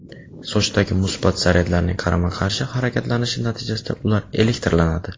Sochdagi musbat zaryadlarning qarama-qarshi harakatlanishi natijasida ular elektrlanadi.